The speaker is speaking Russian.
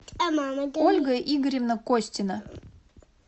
ольга игоревна костина